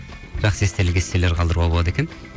жақсы естелік естелілер қалдыруға болады екен